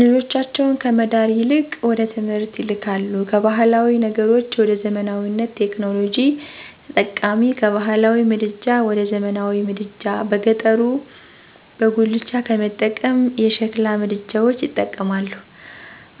ልጆቻቸውን ከመዳር ይልቅወደትምህርት ይልካሉ ካባህላዊ ነገሮች ወደዘመናዊነት፣ ቴክኖሎጂ ተጠቃሚ፣ ከባህላዊ ምድጃ ወደዘመናዊ ምድጃ በገጠሩበጉላቻ ከመጠቀም የሸሕላ ምድጃዎች ይጠቀማሉ።